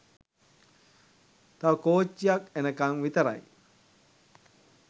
තව කෝච්චියක් එනකන් විතරයි.